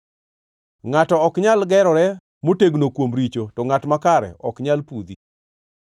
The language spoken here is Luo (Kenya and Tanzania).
Ngʼato ok nyal gerore motegno kuom richo, to ngʼat makare ok nyal pudhi.